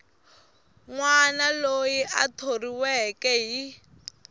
wana loyi a thoriweke hi